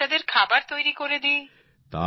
বাচ্চাদের খাবার তৈরি করে দিই